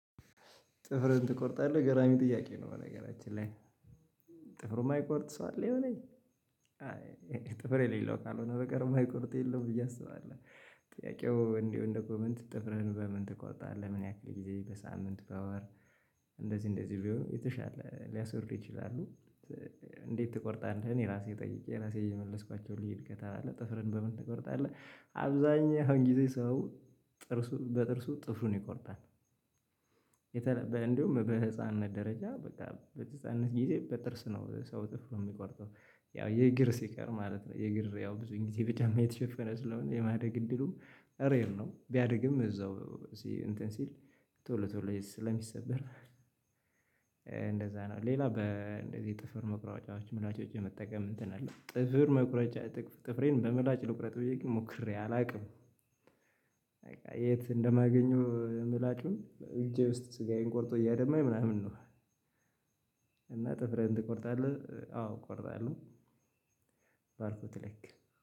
ጥፍርህን ትቆርጣለህ ገራሚ ጥያቄ ነው? በነገራችን ላይ ጥፍሩን የማይቆርጥ ሰው አለ የሆነ ጥፍር የሌለው ካልሆነ በቀር የማይቆርጥ የለም። ብዬ አስባለሁ ጥያቄው እንዲሁ እንደ ኮመንት ጥፍርህን በምን ትቆርጣለህ ምን ያክል ጊዜ በሳምንት በወር እንደዚህ እንደዚህ ቢሆን የተሻለ ሊያስወሩ ይችላሉ? እንዴት ትቆርጣለህ እኔ ራሴ ጠይቄ ራሴ የመለስኳቸው ልዩ እድገት አለ ጥፍርህን በምን ትቆርጣለህ? አብዛኛውን ጊዜ ሰው ጥርሱን በጥርሱ ጥፍሩን ይቆርጣል። እንደውም በህፃንነት ደረጃ በቃ በህፃንነት ጊዜ በጥርስ ነው ሰው ጥፍሩን የሚቆርጠው ያው የእግር ሲቀር ማለት ነው። የእግር ያው ብዙን ጊዜ በጫማ የተሸፈነ ስለሆነ የማደግ እድሉ ሬር ነው ቢያድግም እዛው እንትን ሲል ቶሎ ቶሎ ስለሚሰበር እንደዛ ነው። ሌላ በእንደዚህ ጥፍር መቁረጫዎች ምላጮች የመጠቀም እንትን አለው። ጥፍር መቁረጫ ጥፍሬን በምላጭ ልቁረጥ ብዬ ግን ሞክሬ አላውቅም። በቃ የት እንደማገኘው ምላጩን እጄ ውስጥ ስጋዬን ቆርጦ እያደማኝ ምናምን ነው። እና ጥፍህን ትቆርጣለህ? አዎ እቆርጣለሁ። ባልኩት ልክ